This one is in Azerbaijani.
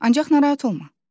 Ancaq narahat olma.